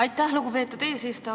Aitäh, lugupeetud eesistuja!